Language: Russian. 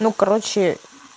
ну короче